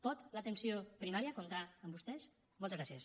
pot l’atenció primària comptar amb vostès moltes gràcies